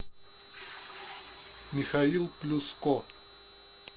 михаил плюс ко